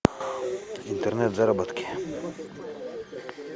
интернет заработки